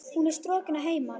Hún er strokin að heiman.